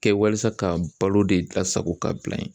Kɛ walasa ka balo de lasago ka bila yen